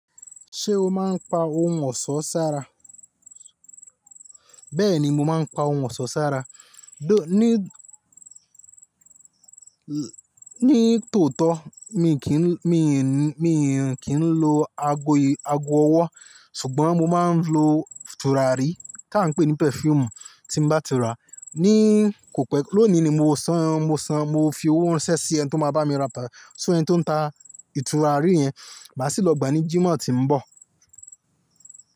Ṣé o máa ń pa ohun ọ̀ṣọ́ sára? Bẹ́ẹ̀ni, mo máa ń pa ohun ọ̀ṣọ́ sára. Ní tòótọ́, mi kí ń, mi ń, mi ń kí ń lo ago, ago ọwọ́ ṣùgbọ́n mo máa ń lo tùràrí tí à ń pè ní perfume tí bá ti rà. Ní kò pẹ́, lónìí ni mo san, mo san, mo fi owó ránṣẹ́ sí ẹni tí ó máa bá mi ra, sọ ẹni tí ó ń ta ìtúràrí yẹn, màá sì lọ gba ní Jímọ̀ tí ń bọ̀.